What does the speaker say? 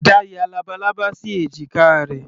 Ada ya labalábá sí èjìká rẹ̀.